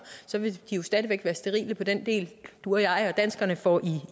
stadig væk være sterile på den del du og jeg danskere får i